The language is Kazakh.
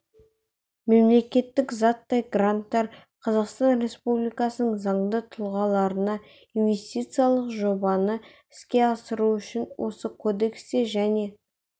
мемлекеттік заттай гранттар қазақстан республикасының заңды тұлғасына инвестициялық жобаны іске асыру үшін осы кодексте және